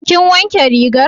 Kin wanke rigar?